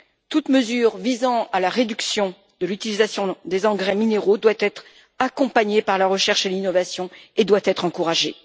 Toute mesure visant à la réduction de l'utilisation des engrais minéraux doit être accompagnée par la recherche et l'innovation et doit être encouragée.